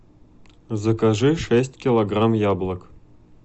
закажи шесть килограмм яблок